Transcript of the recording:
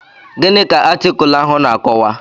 Gịnị ka atịkulụ ahụ na-akọwa?